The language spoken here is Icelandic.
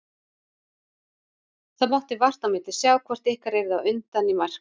Það mátti vart á milli sjá hvort ykkar yrði á undan í mark.